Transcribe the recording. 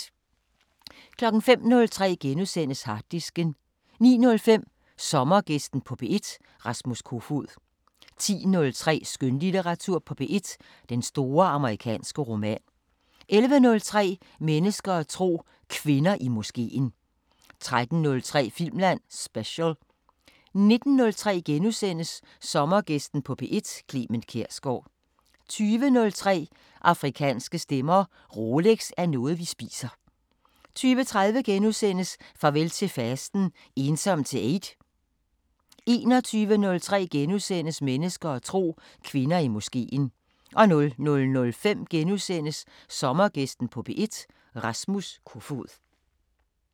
05:03: Harddisken * 09:05: Sommergæsten på P1: Rasmus Kofoed 10:03: Skønlitteratur på P1: Den store amerikanske roman 11:03: Mennesker og tro: Kvinder i moskeen 13:03: Filmland Special 19:03: Sommergæsten på P1: Clement Kjersgaard * 20:03: Afrikanske Stemmer: Rolex er noget vi spiser 20:30: Farvel til fasten: Ensom til eid? * 21:03: Mennesker og tro: Kvinder i moskeen * 00:05: Sommergæsten på P1: Rasmus Kofoed *